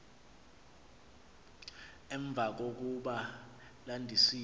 emva kokuba landisiwe